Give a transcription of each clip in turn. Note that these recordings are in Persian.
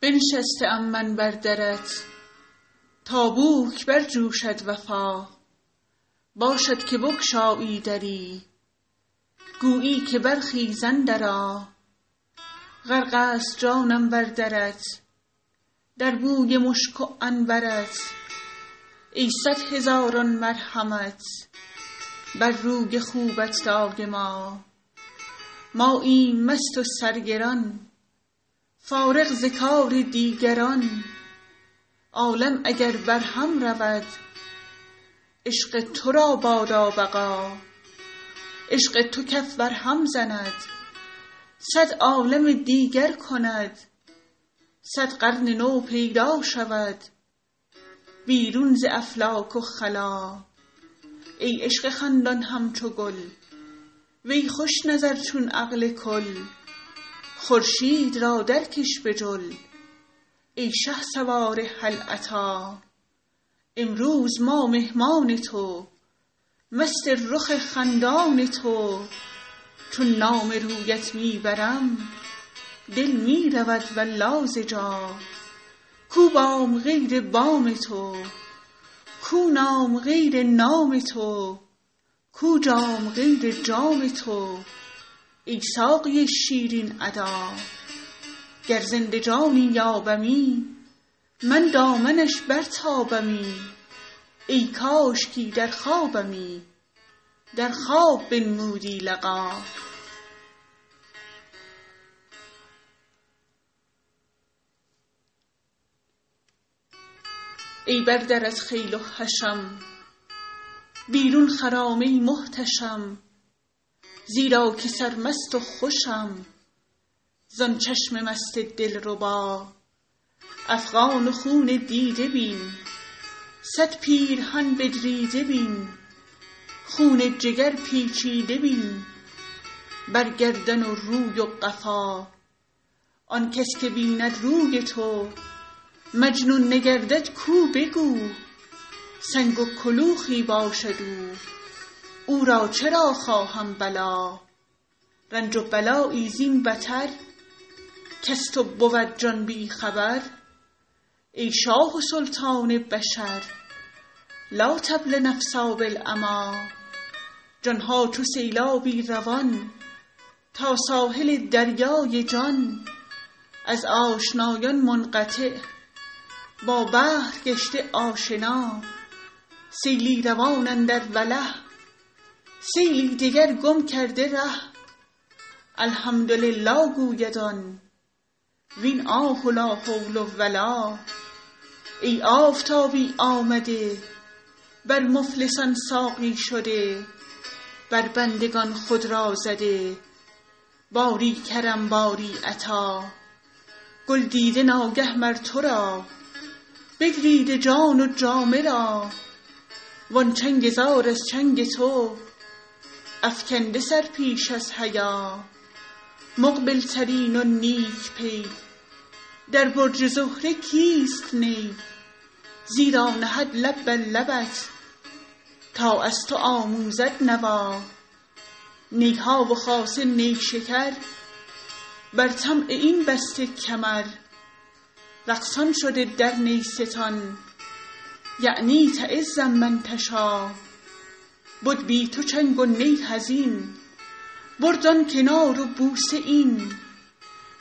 بنشسته ام من بر درت تا بوک برجوشد وفا باشد که بگشایی دری گویی که برخیز اندرآ غرق ست جانم بر درت در بوی مشک و عنبر ت ای صد هزاران مرحمت بر روی خوبت دایما ماییم مست و سرگران فارغ ز کار دیگران عالم اگر برهم رود عشق تو را بادا بقا عشق تو کف برهم زند صد عالم دیگر کند صد قرن نو پیدا شود بیرون ز افلاک و خلا ای عشق خندان همچو گل وی خوش نظر چون عقل کل خورشید را درکش به جل ای شهسوار هل اتی امروز ما مهمان تو مست رخ خندان تو چون نام رویت می برم دل می رود والله ز جا کو بام غیر بام تو کو نام غیر نام تو کو جام غیر جام تو ای ساقی شیرین ادا گر زنده جانی یابمی من دامنش برتابمی ای کاشکی در خوابمی در خواب بنمودی لقا ای بر درت خیل و حشم بیرون خرام ای محتشم زیرا که سرمست و خوشم زان چشم مست دلربا افغان و خون دیده بین صد پیرهن بدریده بین خون جگر پیچیده بین بر گردن و روی و قفا آن کس که بیند روی تو مجنون نگردد کو به کو سنگ و کلوخی باشد او او را چرا خواهم بلا رنج و بلایی زین بتر کز تو بود جان بی خبر ای شاه و سلطان بشر لا تبل نفسا بالعمی جان ها چو سیلابی روان تا ساحل دریای جان از آشنایان منقطع با بحر گشته آشنا سیلی روان اندر وله سیلی دگر گم کرده ره الحمدلله گوید آن وین آه و لا حول و لا ای آفتابی آمده بر مفلسان ساقی شده بر بندگان خود را زده باری کرم باری عطا گل دیده ناگه مر تو را بدریده جان و جامه را وان چنگ زار از چنگ تو افکنده سر پیش از حیا مقبل ترین و نیک پی در برج زهره کیست نی زیرا نهد لب بر لبت تا از تو آموزد نوا نی ها و خاصه نیشکر بر طمع این بسته کمر رقصان شده در نیستان یعنی تعز من تشا بد بی تو چنگ و نی حزین برد آن کنار و بوسه این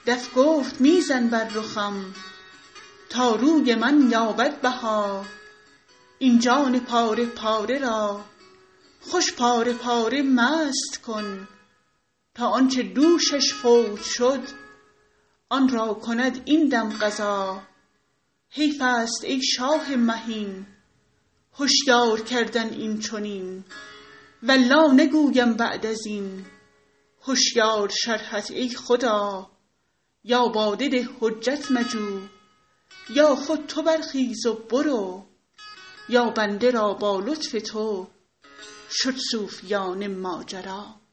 دف گفت می زن بر رخم تا روی من یابد بها این جان پاره پاره را خوش پاره پاره مست کن تا آن چه دوشش فوت شد آن را کند این دم قضا حیف است ای شاه مهین هشیار کردن این چنین والله نگویم بعد از این هشیار شرحت ای خدا یا باده ده حجت مجو یا خود تو برخیز و برو یا بنده را با لطف تو شد صوفیانه ماجرا